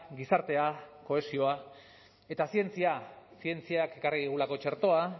gizartea kohesioa eta zientzia zientziak ekarri digulako txertoa